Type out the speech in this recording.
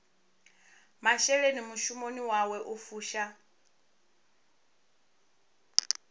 masheleni mushumoni wawe u fusha